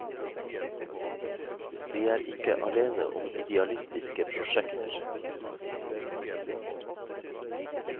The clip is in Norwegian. De er ikke aleine om idealistiske prosjekter.